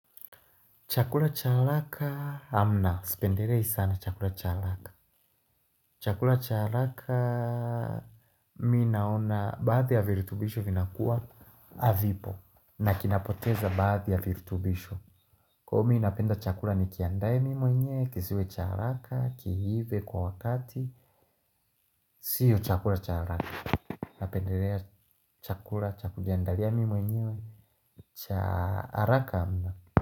Chakula cha haraka hamna. Sipendelei sana chakula cha haraka. Chakula cha haraka mimi naona baadhi ya virutubisho vinakuwa hazipo na kinapoteza baadhi ya virutubisho. Kwa hivyo mimi napenda chakula ni kiandaye mi mwenye kisiwe cha haraka kiive kwa wakati. Sio chakula cha haraka napendelea chakula cha kujiandalia mimi mwenyewe chaaraka hamna.